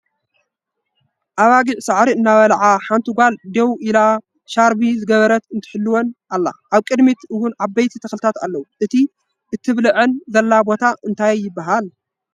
ኣባጊዕ ሳዕሪ እናበለዓ ሓንቲ ጋል ዴው ኢላ ሻርፒ ዝገበረት ትሕልወን ኣላ ኣብ ቅድሚት እውን ዓበይቲ ተክልታት ኣለዉ። እቲ ተብለዐለን ዘላ ቦታ እንታይ ይበሃል ?